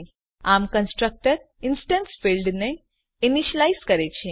આમ constructor instance ફિલ્ડને initialise કરે છે